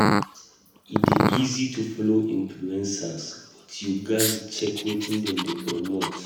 E dey easy to follow influencers, but you gatz check wetin dem dey promote.